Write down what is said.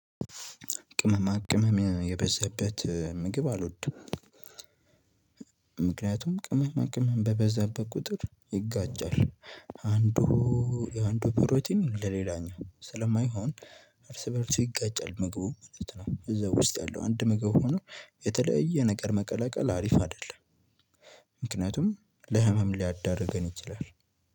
ቅመማ ቅመም የበዛበት ምግብ አልወድም። ምክንያቱም ቅመማ ቅመም በበዛበት ቁጥር ይጋጫል። አንዱ የአንዱ ፕሮቲን ለሌላኛው ስለማይሆን እርስ በእርስ ይጋጫል ምግቡ ማለት ነው። እዛ ውስጥ ያለው አንድ ምግብ ሆኖ የተለየ ነገር መቀላቀል አሪፍ አይደለም። ምክንያቱም ለህመም ሊያዳርገን ይችላል።